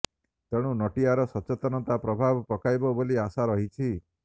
ତେଣୁ ନଟିଆର ସଚେତନତା ପ୍ରଭାବ ପକାଇବ ବୋଲି ଆଶା ରହିଛି